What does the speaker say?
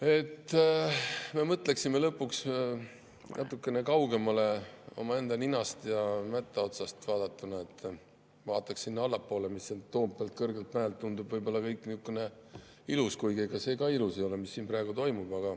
Ehk mõtleksime lõpuks natukene kaugemale omaenda ninast ja mätta otsast vaadatuna, vaataksime sinna allapoole, mis Toompealt, kõrgelt mäelt tundub võib-olla kõik ilus – kuigi ega see ka ilus ei ole, mis siin praegu toimub.